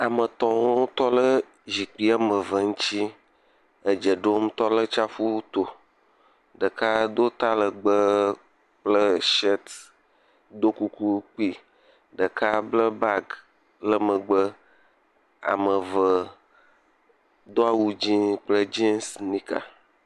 Ame geɖe abe xlexle me woame atɔ wole teƒe ya. Tɔgbui ɖe tsɔ akɔ nyi le agba ɖe gbɔ eye wokɔ agba gbadze gaze gbadza wokɔ ɖo dzodzi he nane ɖam le eme. Ke bubu ha tɔ ɖe emɔ aɖe gbɔ.